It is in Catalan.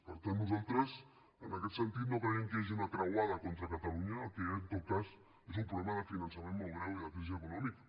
per tant nosaltres en aquest sentit no creiem que hi hagi una croada contra catalunya el que hi ha en tot cas és un problema de finançament molt greu i de crisi econòmica